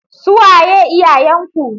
Su waye iyayenku?